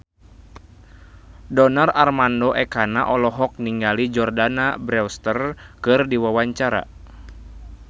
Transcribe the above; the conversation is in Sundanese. Donar Armando Ekana olohok ningali Jordana Brewster keur diwawancara